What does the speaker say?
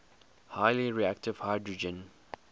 highly reactive hydrogen